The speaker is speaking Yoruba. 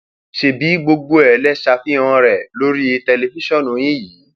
ṣebí gbogbo ẹ lè ṣàfihàn rẹ lórí tẹlifíṣàn yín yìí um